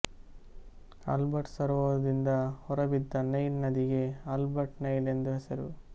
Albert ಸರೋವರದಿಂದ ಹೊರಬಿದ್ದ Nile ನದಿಗೆ ಆಲ್ಬರ್ಟ್ ನೈಲ್ ಎಂದು ಹೆಸರು